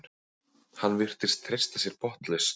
Hann virtist treysta sér botnlaust.